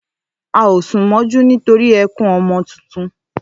À o sùn mójú nítorí ẹkún ọmọ tuntun